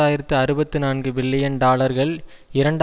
ஆயிரத்தி அறுபத்தி நான்குபில்லியன் டாலர்கள் இரண்டு